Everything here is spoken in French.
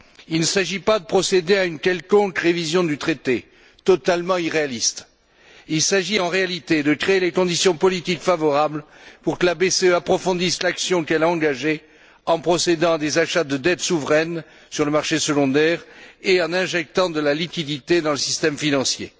Il ne s'agit pas de procéder à une quelconque révision du traité, totalement irréaliste. Il s'agit en réalité de créer les conditions politiques favorables pour que la BCE approfondisse l'action qu'elle a engagée en procédant à des achats de dettes souveraines sur le marché secondaire et en injectant de la liquidité dans le système financier.